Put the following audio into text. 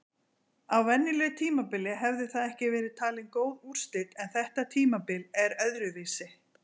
Á venjulegu tímabili hefði það ekki verið talin góð úrslit en þetta tímabil er öðruvísi!